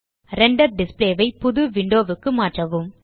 render display ஐ புது window க்கு மாற்றவும்